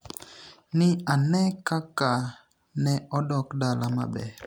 ni e ani e kaka ni e odok dala maber.